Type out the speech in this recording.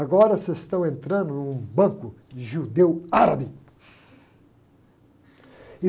Agora vocês estão entrando num banco de judeu árabe.